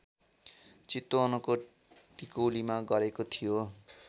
चितवनको टिकौलीमा गरेको थियो